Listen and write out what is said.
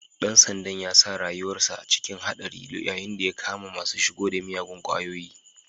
Ɗan sandan ya sa rayuwansa cikin haɗari yayun da ya kama masu shigo da miyagun kwayoyi.